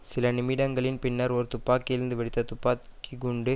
சில நிமிடங்களின் பின்னர் ஒரு துப்பாக்கியிலிருந்து வெடித்த துப்பாக்கி குண்டு